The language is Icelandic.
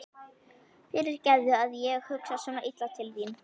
Fyrirgefðu að ég hugsa svona illa til þín.